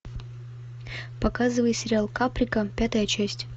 показывай сериал каприка пятая часть